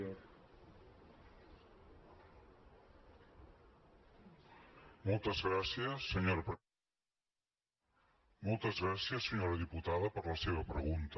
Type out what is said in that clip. moltes gràcies senyora diputada per la seva pregunta